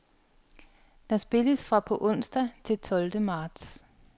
Der spilles fra på onsdag til tolvte marts.